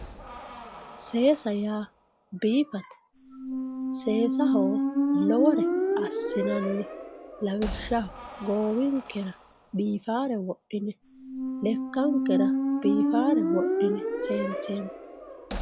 Seessa yaa biifate ,seessaho lowore assinanni lawishshaho goowinkera biifanore wodhine lekkankera biifare wodhine seenseemmo.